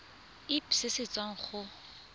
irp se se tswang go